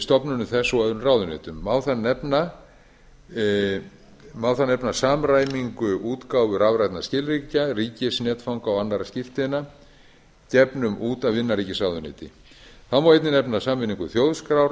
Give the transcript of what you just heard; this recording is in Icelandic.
stofnunum þess og öðrum ráðuneytum má þar nefna samræmingu útgáfu rafrænna skilríkja ríkisnetfanga og annarra skírteina gefnum út af innanríkisráðuneyti þá má einnig nefna sameiningu þjóðskrár